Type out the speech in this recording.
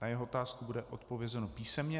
Na jeho otázku bude odpovězeno písemně.